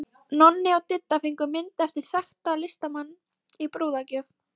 Nonni og Didda fengu mynd eftir þekktan listamann í brúðargjöf.